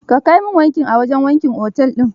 Ka kai min wanki a wajen wankin otel din.